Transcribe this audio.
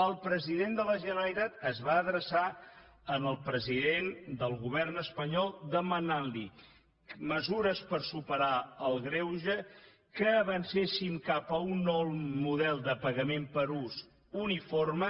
el president de la generalitat es va adreçar al president del govern espanyol per demanar li mesures per superar el greuge que avancessin cap a un nou model de pagament per ús uniforme